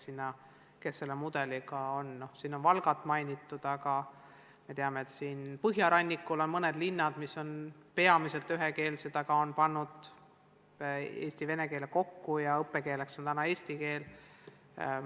Siin on ka Valgat mainitud, aga me teame, et ka põhjarannikul on mõned linnad, mis on peamiselt ühekeelsed, aga nad on pannud eesti ja vene keele kokku ja seal on õppekeeleks eesti keel.